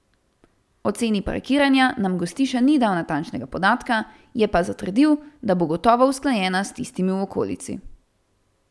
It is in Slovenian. O ceni parkiranja nam Gostiša ni dal natančnega podatka, je pa zatrdil, da bo gotovo usklajena s tistimi v okolici.